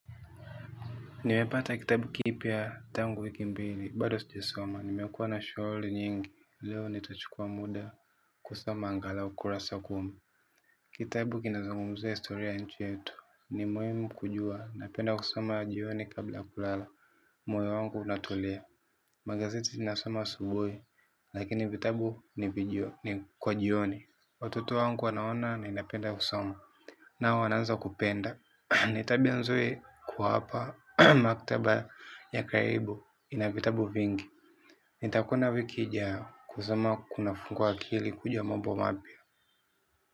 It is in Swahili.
Nimepata kitabu kipya tangu wiki mbili, bado sijakisoma, nimekuwa na shughuli nyingi, leo nitachukua muda kusoma angalau kurasa kumi. Kitabu kinazungumzia historia ya nchi yetu, ni muhimu kujua, napenda kusoma jioni kabla ya kulala, moyo wangu unatulia. Magazeti nasoma asubuhi, lakini vitabu ni kwa jioni. Watoto wangu wanaona ninapenda kusoma, nao wanaanza kupenda. Ni tabia nzuri kuwapa maktaba ya karibu, ina vitabu vingi. Nitakwenda wiki ijayo. Kusoma kunafungua akili kujua mambo mapya.